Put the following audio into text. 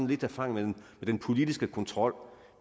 lidt erfaring med den politiske kontrol